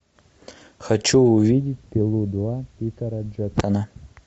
хочу увидеть пилу два питера джексона